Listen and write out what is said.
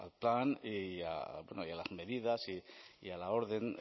al plan y a bueno y a las medidas y a la orden